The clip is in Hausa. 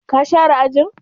Ka share ajin?